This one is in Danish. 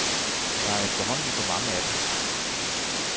Der er efterhånden for mange af dem.